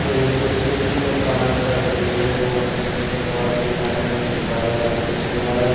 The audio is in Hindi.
ये एक खूबसूरत पहाड़ का दृश्य है जहाँ ऊंचा-ऊंचा पहाड़ दिखा रहा हैं जिसको बादल आकर छू रहा है।